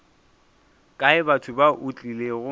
kae batho ba o tlilego